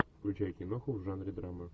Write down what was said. включай киноху в жанре драма